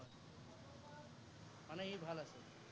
মানে সি ভাল আছিল।